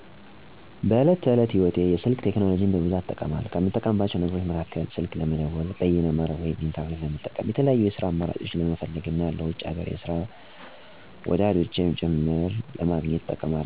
በዕለት ተዕለት ህይወቴ የስልክ ቴክኖሎጂን በብዛት እጠቀማለሁ። ከምጠቀማቸው ነገሮች መካከል፦ ስልክ ለመደወል፣ በይነ-መረብ (ኢንተርኔት) ለመጠቀም፣ የተለያዩ የስራ አማራጮችን ለመፈለግ እና ለውጪም ሀገር ውስጥም ያሉ ወዳጅ ዘመዶቼን ለማግኘት እንጠቀማለሁ።